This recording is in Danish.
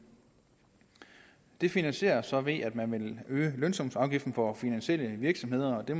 det finansieres så ved at man vil øge lønsumsafgiften for finansielle virksomheder og det